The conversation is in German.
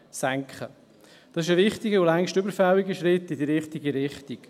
Das ist ein wichtiger und längst überfälliger Schritt in die richtige Richtung.